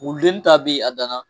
Wuludennin ta beyi a dan na.